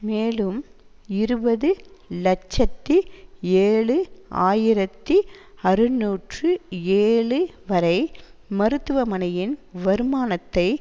மேலும் இருபது இலட்சத்தி ஏழு ஆயிரத்தி அறுநூற்று ஏழு வரை மருத்துவமனையின் வருமானத்தை